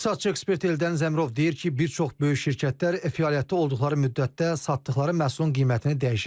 İqtisadçı ekspert Eldəniz Zəmrov deyir ki, bir çox böyük şirkətlər fəaliyyətdə olduqları müddətdə satdıkları məhsulun qiymətini dəyişir.